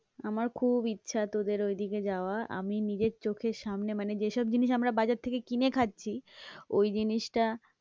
আমার খুব ইচ্ছা তোদের ঐদিকে যাওয়া, আমি নিজের চোখের সামনে মানে যেসব জিনিস আমরা বাজার থেকে কিনে খাচ্ছি ওই জিনিসটা